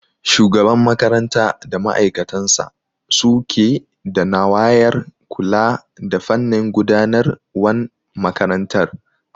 Shugaban makaranta da ma'aikatansa suke da nawayar kula da fannin gudanar wan makarantar